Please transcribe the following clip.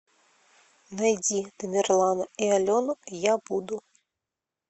найди тамерлана и алену я буду